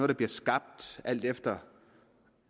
der bliver skabt alt efter